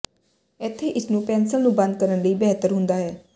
ਇੱਥੇ ਇਸ ਨੂੰ ਪੈਨਲ ਨੂੰ ਬੰਦ ਕਰਨ ਲਈ ਬਿਹਤਰ ਹੁੰਦਾ ਹੈ